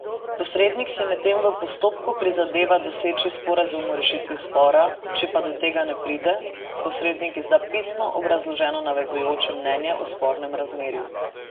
Posrednik si medtem v postopku prizadeva doseči sporazum o rešitvi spora, če pa do tega ne pride, posrednik izda pisno obrazloženo nezavezujoče mnenje o spornem razmerju.